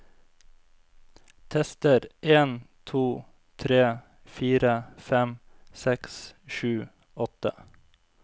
Tester en to tre fire fem seks sju åtte